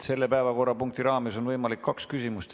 Selle päevakorrapunkti raames on võimalik esitada kaks küsimust.